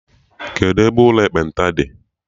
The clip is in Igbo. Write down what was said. Kedụ ebe ụlọ ekpenta dị?